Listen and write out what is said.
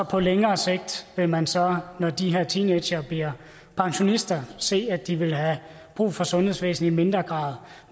på længere sigt vil man så når de her teenagere bliver pensionister se at de vil have brug for sundhedsvæsenet i mindre grad